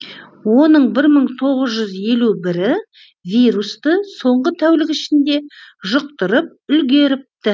оның бір мың тоғыз жүз елу бірі вирусты соңғы тәулік ішінде жұқтырып үлгеріпті